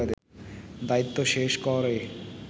দায়িত্ব শেষ করে